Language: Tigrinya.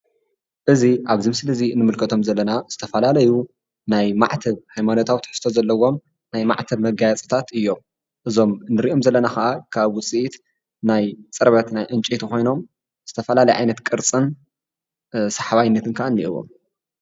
እዚ ኣብዚ ምስሊ እዚ እንምልከቶም ዘለና ናይ ዝተፈላለዩ ናይ ማዕተብ ሃይማኖታዊ ትሕዝቶ ዘለዎም ናይ ማዕተብ መጋየፅታት እዮም ።እዞም ንሪኦም ዘለና ከዓ ካብ ዉጽኢት ናይ ፅርበት ናይ ዕንጨቲ ኮይኖም ዝተፈላለየ ዓይነት ቅርፅን ስሓባይነትን ከዓ እኒአዎም ።